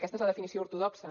aquesta és la definició ortodoxa